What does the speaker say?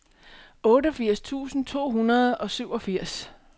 otteogfirs tusind to hundrede og syvogfirs